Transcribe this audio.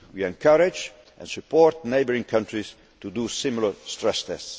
borders. We encourage and support neighbouring countries to do similar stress